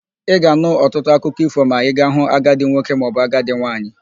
Ị ga-anụ ọtụtụ akụkọ ífò ma ị ga-hụ agadị nwoke maọbụ agadị nwaanyị.